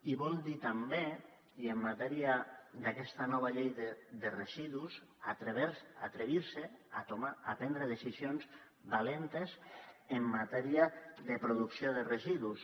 i vol dir també i en matèria d’aquesta nova llei de residus atrevir se a prendre decisions valentes en matèria de producció de residus